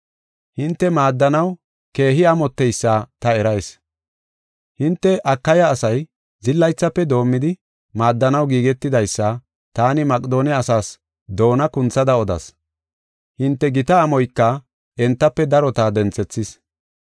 Hinte maaddanaw keehi amotteysa ta erayis. Hinte Akaya asay, zillaythafe doomidi maaddanaw giigetidaysa taani Maqedoone asaas doona kunthada odas. Hinte gita amoyka entafe darota denthethis.